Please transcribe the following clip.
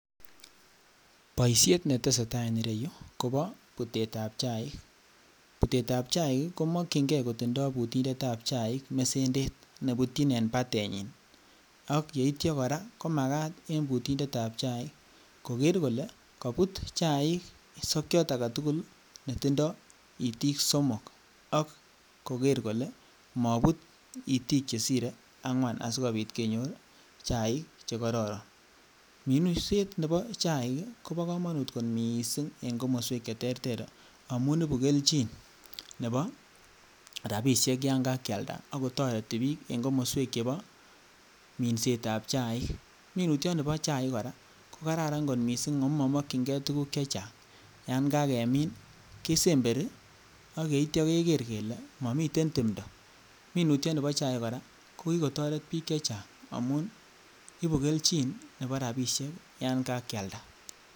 Boishet netesetaa en ireyuu koboo butetab chaik, butetab chaik komokying'ee kotindoo butindet ab chaik mesendet nebutyin en batenyin ak yeityo kora komakat en butindet ab chaik koker kolee kobut chaik sokiot aketukul netindo itiik somok ak kokeer kolee mobut itiik chesire ang'wan asikobit kenyor chaik chekororon, minset neboo chaik kobokomonut kot missing en komoswek cheterter amun ibuu kelchin neboo rabishek yaan kakialda akot akotoreti biik en komoswek chebo minsetab chaik, minutioni bo chaik kora, kokararan kot mising momokying'e tukuk chechang, yaan kakemin kesemberi ak yeityo kekeer kelee momiten timndo, minutioni bo chaik kora kokikotoret biik chechang amun ibuu kelchin neboo rabishek yaan kakialda.